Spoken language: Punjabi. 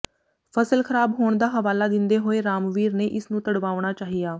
ਫਸਲ ਖ਼ਰਾਬ ਹੋਣ ਦਾ ਹਵਾਲਾ ਦਿੰਦੇ ਹੋਏ ਰਾਮਵੀਰ ਨੇ ਇਸਨੂੰ ਤੁੜਵਾਉਣਾ ਚਾਹਿਆ